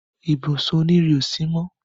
ibùsùn òní rìn ọ sí mọ